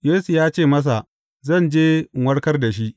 Yesu ya ce masa, Zan je in warkar da shi.